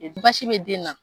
basi bɛ den na.